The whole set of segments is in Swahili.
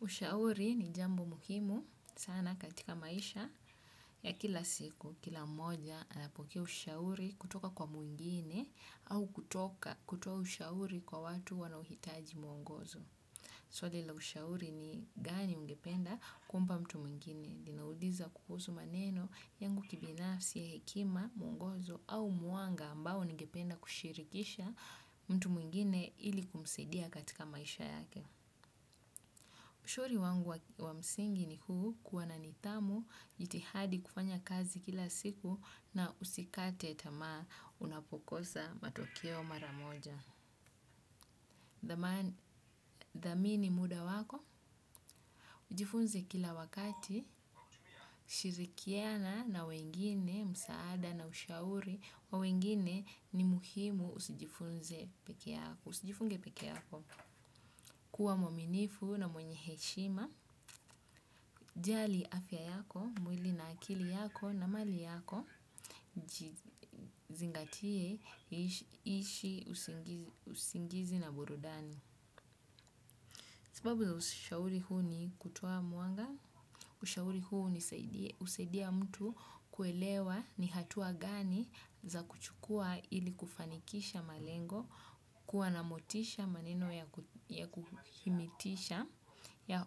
Ushauri ni jambo muhimu sana katika maisha ya kila siku, kila mmoja anapokea ushauri kutoka kwa mwingine au kutoka kutoa ushauri kwa watu wanauhitaji mwongozo. Suali la ushauri ni gani ungependa kumpa mtu mwingine. Linauliza kuhusu maneno yangu kibinafsi ya hekima mwongozo au muanga ambao ungependa kushirikisha mtu mwingine ili kumusedia katika maisha yake. Ushauri wangu wa msingi ni huu kuwa na nitamu jitihadi kufanya kazi kila siku na usikate tama unapokosa matokeo maramoja. Dhamini muda wako, ujifunze kila wakati, shirikiana na wengine, msaada na ushauri, wawengine ni muhimu usijifunze peke yako. Kuwa mwaminifu na mwenye heshima, jali afya yako, mwili na akili yako na mali yako, zingatie ishi usingizi na burudani. Sababu za ushauri huu ni kutoa muanga, ushauri huseidia mtu kuelewa ni hatua gani za kuchukua ili kufanikisha malengo kuwa na motisha maneno ya kuhimitisha, ya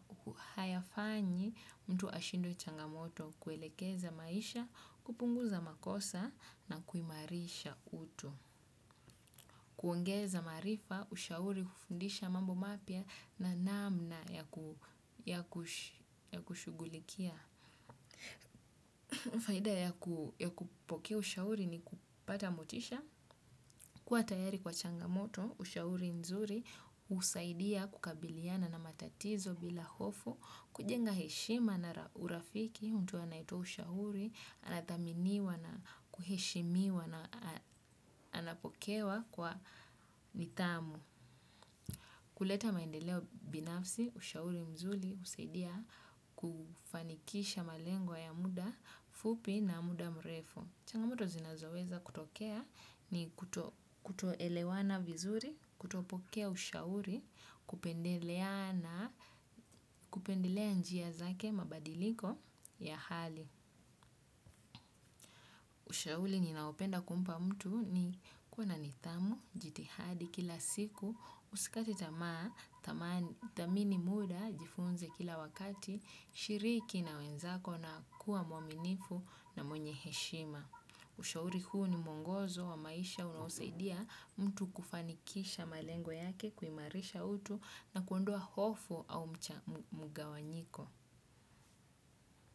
hayafanyi mtu ashindwe changamoto, kuelekeza maisha, kupunguza makosa na kuimarisha uto. Kuongeza marifa, ushauri, kufundisha mambo mapia na namna ya kushugulikia. Faida ya kupokea ushauri ni kupata motisha. Kuwa tayari kwa changamoto, ushauri nzuri, usaidia kukabiliana na matatizo bila hofu, kujenga heshima na urafiki, mtu anaito ushauri, anataminiwa na kuheshimiwa na anapokewa kwa nitamu. Kuleta maendeleo binafsi, ushauri mzuli, usaidia kufanikisha malengo ya muda, fupi na muda mrefu. Changamoto zinazoweza kutokea ni kutoelewana vizuri, kutopokea ushauri, kupendeleana kupendelea njia zake mabadiliko ya hali. Ushauli ninaopenda kumpa mtu ni kuwa nitamu, jitihadi kila siku, usikate tamaa, tamini muda, jifunze kila wakati, shiriki na wenzako na kuwa mwaminifu na mwenye heshima. Ushauri kuhu ni mwongozo wa maisha unawosaidia mtu kufanikisha malengwa yake, kuimarisha utu na kuondoa hofu au mcha mugawanyiko.